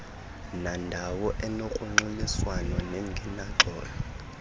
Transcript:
nandawo enogrwangxuliswano nengenaxolo